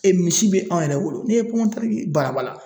misi bɛ anw yɛrɛ wolo ne ye balabala